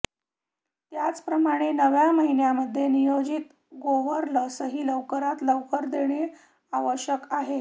त्याचप्रमाणे नव्या महिन्यामध्ये नियोजित गोवर लसही लवकरात लवकर देणे आवश्यक आहे